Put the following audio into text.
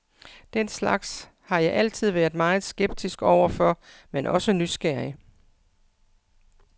Den slags har jeg altid været meget skeptisk overfor, men også nysgerrig.